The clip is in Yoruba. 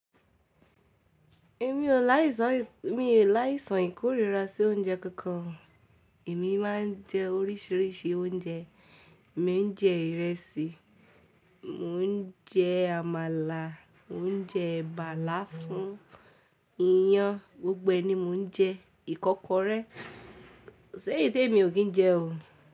Èmi ò láìsàn, èmi ò láìsàn ìkórìíra sí oúnjẹ kankan. Èmi máa ń jẹ oríṣìíríṣìí oúnjẹ. Mo ń jẹ ìrẹsì, mò ń jẹ àmàlà, mò ń jẹ ẹ̀bà láfún, iyán, gbogbo ẹni mò ń jẹ, ìkọ́kọrẹ́, séyìtí èmi ò kín jẹ o.